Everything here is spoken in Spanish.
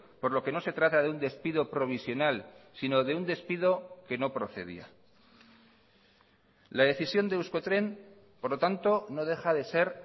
por lo que no se trata de un despido provisional sino de un despido que no procedía la decisión de euskotren por lo tanto no deja de ser